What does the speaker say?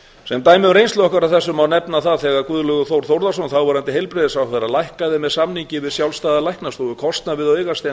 sem dæmum um reynslu okkar af þessu má nefna það þegar guðlaugur þór þórðarson þáverandi heilbrigðisráðherra lækkaði með samningi við sjálfstæða læknastofu kostnað við